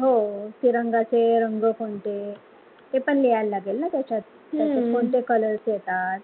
हो, तिरंगा चे रंग कोणते ते पण लिहायला लागेल ना त्याच्यात त्याच्यात कोणते colors येतात